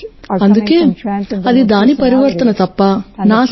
అందుకే దాని పరివర్తన తప్ప అది నా శక్తి కాదు